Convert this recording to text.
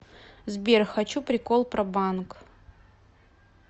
сбер хочу прикол про банк